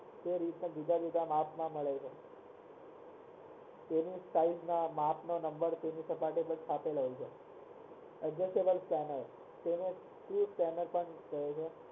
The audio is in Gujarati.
તે રીતના બીજા બીજા માપ માં મળે છે તેની size ના માપ ના નંબર adjustable fan હોય તેને